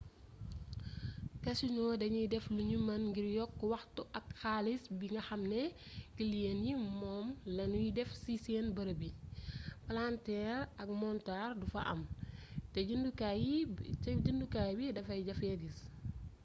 casinos danuy def lunu mën ngir yokk waxtu ak xaalis bi nga xam ne kiliyen yi moom lanuy def ci seen bërëb yi palanteer ak montar du fa am te gennukaay bi dafay jafee gis